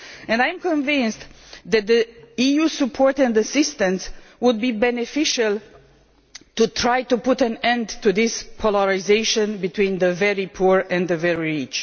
I am convinced that EU support and assistance would be beneficial in trying to put an end to this polarisation between the very poor and the very rich.